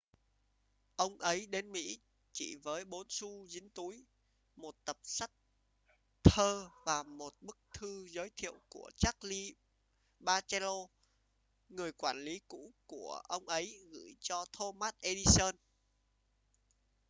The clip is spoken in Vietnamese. "ông ấy đến mỹ chỉ với 4 xu dính túi một tập sách thơ và một bức thư giới thiệu của charles batchelor người quản lý cũ của ông ấy gửi cho thomas edison.